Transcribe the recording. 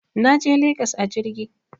Naje legas a jirgi